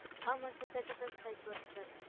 ஆமா sir thirty first வரிக்கும்